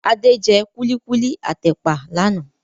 Adé jẹ kulikuli at ẹ̀pà lànà